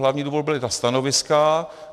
Hlavní důvod byla ta stanoviska.